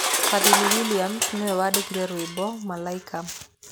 Fadhili Williams nĩ we waandĩkire rwĩmbo "Malaika."